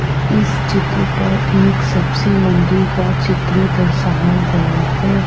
इस चित्र पर एक सब्जी मंडी का चित्र दर्शाया गया है।